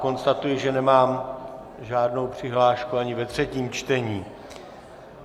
Konstatuji, že nemám žádnou přihlášku ani ve třetím čtení.